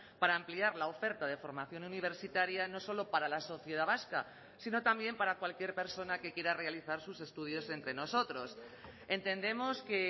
para ampliar la oferta de formación universitaria no solo para la sociedad vasca sino también para cualquier persona que quiera realizar sus estudios entre nosotros entendemos que